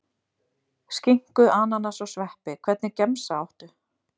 Skinku, ananas og sveppi Hvernig gemsa áttu?